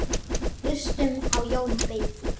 SKÚLI: Hlustum á Jón beyki!